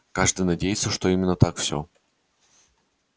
каждый надеется что именно так всё